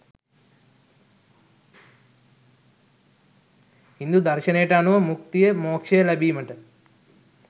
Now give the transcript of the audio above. හින්දු දර්ශනයට අනුව මුක්තිය මෝක්ෂය ලැබීමට